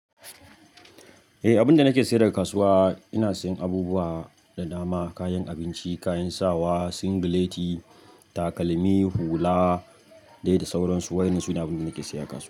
Eh, abinda nake saye daga kasuwa ina sayan abubuwa da dama, kayan abinci, kayan sawa, singileti, takalmi, hula dai da sauransu. Waɗannan su ne abun da nake saya a kasuwa.